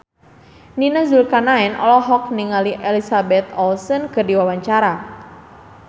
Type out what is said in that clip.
Nia Zulkarnaen olohok ningali Elizabeth Olsen keur diwawancara